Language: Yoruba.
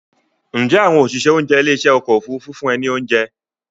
Ǹjẹ́ àwọn òṣìṣẹ́ oúnjẹ ilé ìṣe ọkọ̀ Òfurufú fún ẹ ní oúnjẹ?